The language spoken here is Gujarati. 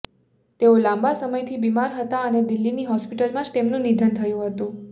તેઓ લાંબા સમયથી બિમાર હતા અને દિલ્હીની હોસ્પિટલમાં જ તેમનું નિધન થયું હતું